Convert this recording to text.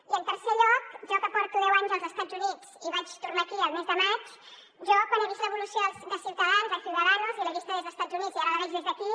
i en tercer lloc jo que porto deu anys als estats units i vaig tornar aquí el mes de maig quan he vist l’evolució de ciutadans de ciudadanos i l’he vista des d’estats units i ara la veig des d’aquí